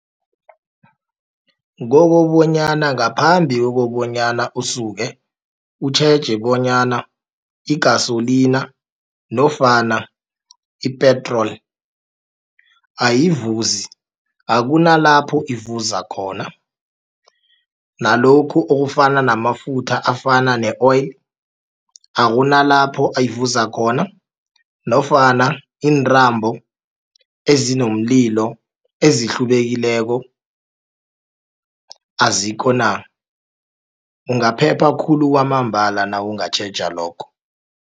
Kokobonyana ngaphambi kokobonyana usuke, utjheje bonyana i-gasolina nofana i-petrol ayivuzi akunalapho ivuza khona. Nalokhu okufana namafutha afana ne-oil akunalapho ivuza khona nofana iintambo ezinomlilo ezihlubekileko azikho na. Ungaphephe khulu kwamambala nawungatjheja lokho.